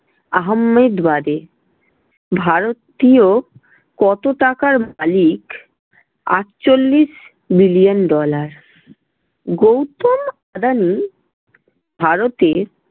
আহাম্মেদবাদে। ভারতীয় কত টাকার মালিক আটচল্লিশ billion dollar গৌতম আদানি ভারতে